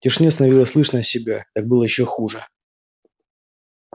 в тишине становилось слышно себя так было ещё хуже